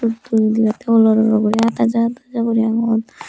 photo odebatay olor olor guri art aja art aja guri agon.